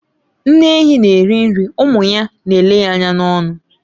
Nne ehi na eri nri, ụmụ ya n'ele ya anya n'ọnụ.